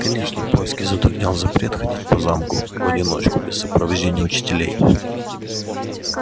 конечно поиски затруднял запрет ходить по замку в одиночку без сопровождения учителей